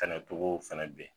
Kana jogow fana ben